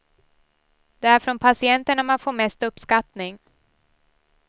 Det är från patienterna man får mest uppskattning.